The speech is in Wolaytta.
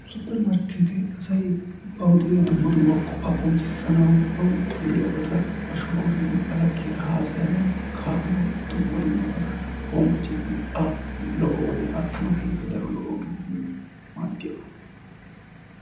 Supper markeetee asay bawu de'iya dumma dumma qofaa qonccissanawu bawu de'iyaabata ba shooruwara gidin ba laggiyara haasayanawu kaa'anawu dumma dumabatun hombbocciidikka lo'o wodiyaa attanawu keeh8ippe daro lo'o ooge maddiyaaba.